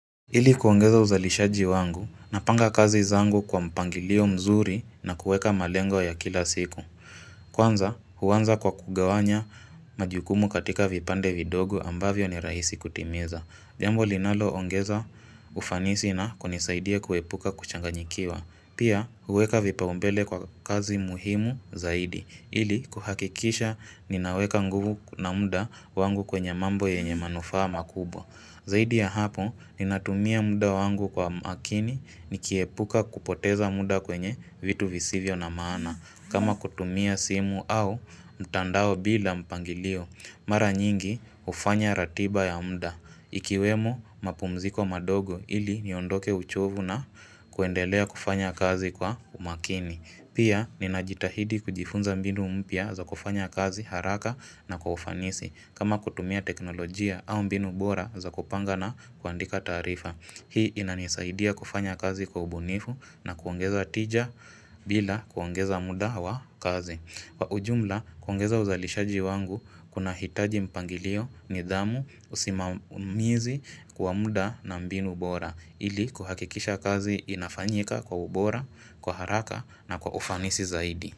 Ili kuongeza uzalishaji wangu, napanga kazi zangu kwa mpangilio mzuri na kuweka malengo ya kila siku. Kwanza, huanza kwa kugawanya majukumu katika vipande vidogo ambavyo ni rahisi kutimiza. Jambo linaloongeza ufanisi na kunisaidia kuepuka kuchanganyikiwa. Pia, huweka vipaumbele kwa kazi muhimu zaidi. Ili, kuhakikisha, ninaweka nguvu na muda wangu kwenye mambo yenye manufaa ma kubwa. Zaidi ya hapo ninatumia muda wangu kwa makini nikiepuka kupoteza muda kwenye vitu visivyo na maana. Kama kutumia simu au mtandao bila mpangilio. Mara nyingi ufanya ratiba ya muda. Ikiwemo mapumziko madogo ili niondoke uchovu na kuendelea kufanya kazi kwa umakini. Pia ninajitahidi kujifunza mbinu mpya za kufanya kazi haraka na kwa ufanisi kama kutumia teknolojia au mbinu bora za kupanga na kuandika taarifa. Hii inanisaidia kufanya kazi kwa ubunifu na kuongeza tija bila kuongeza muda wa kazi. Kwa ujumla kuongeza uzalishaji wangu kunahitaji mpangilio nidhamu usimamizi kwa muda na mbinu bora. Ili kuhakikisha kazi inafanyika kwa ubora, kwa haraka na kwa ufanisi zaidi.